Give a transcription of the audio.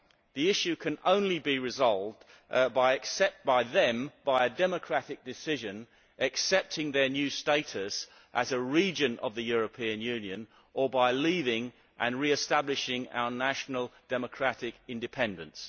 The issue can only be resolved by them, by a democratic decision accepting their new status as a region of the European Union, or by leaving and re establishing our national democratic independence.